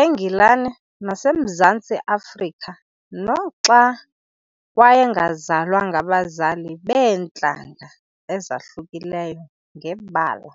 eNgilani naseMzantsi Afrika noxa wayengazalwa ngabazali beentlanga ezahlukileyo ngebala.